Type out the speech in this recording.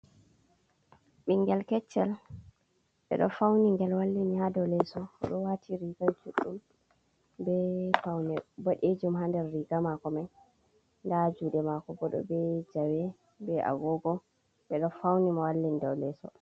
Ɓingel keccel ɓe ɗo fauni gel wallini ha dou leso oɗo wati riga juɗɗum be faune boɗejum ha ndar riga mako mai nda juɗe mako bo ɗo be jawe be agogo ɓeɗo fauni mo wallini dow lesso.